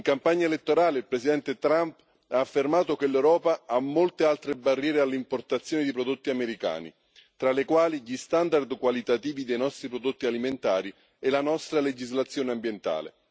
In campagna elettorale il Presidente Trump ha affermato che l'Europa ha molte altre barriere all'importazione di prodotti americani, tra le quali gli standard qualitativi dei nostri prodotti alimentari e la nostra legislazione ambientale.